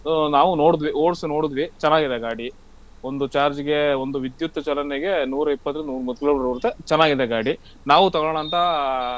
ನಾವೂ ನೋಡಿದ್ವಿ ಓಡ್ಸಿ ನೋಡಿದ್ವಿ ಚೆನ್ನಾಗಿದೆ ಗಾಡಿ ಒಂದು charge ಗೆ ಒಂದು ವಿದ್ಯುತ್ ಚಲನೆಗೆ ನೂರಾ ಇಪ್ಪತ್ರಿಂದ ನೂರಾ ಮೂವತ್ತ್ kilometer ಓಡುತ್ತೆ ಚೆನ್ನಾಗಿದೆ ಗಾಡಿ.